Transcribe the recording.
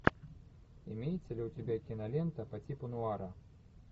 имеется ли у тебя кинолента по типу нуара